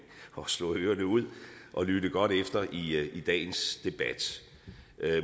og slå ørerne ud og lytte godt efter i dagens debat